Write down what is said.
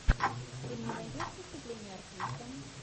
ты мне найдешь выступление артиста